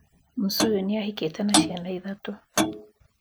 Msuyu nĩahikite na ciana ithatũ